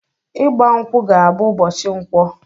Igba mkwụ ga bụ ụbọchị Nkwọ!